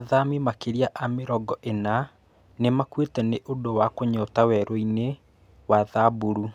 Athami makĩria a mĩrongo ĩna nĩmakuite nĩ ũndũwa kũnyota werũi-nĩ wa thaburu.